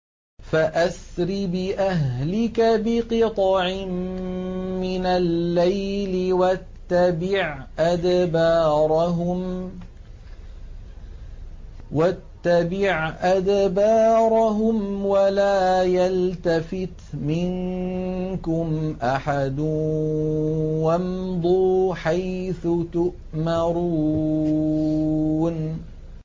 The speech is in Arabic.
فَأَسْرِ بِأَهْلِكَ بِقِطْعٍ مِّنَ اللَّيْلِ وَاتَّبِعْ أَدْبَارَهُمْ وَلَا يَلْتَفِتْ مِنكُمْ أَحَدٌ وَامْضُوا حَيْثُ تُؤْمَرُونَ